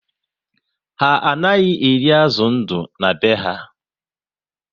Ha anaghị eri azụ ndụ na be ha